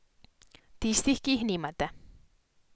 Tistih, ki jih nimate.